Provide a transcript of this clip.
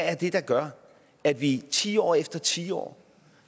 er det der gør at vi tiår efter tiår